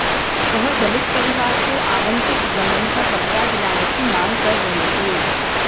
वह दलित परिवार को आवंटित जमीन का कब्जा दिलाने की मांग कर रहे थे